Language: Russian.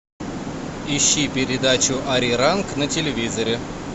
ищи передачу ариранг на телевизоре